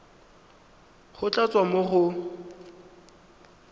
go tla tswa mo go